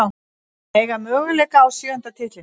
Eiga möguleika á sjöunda titlinum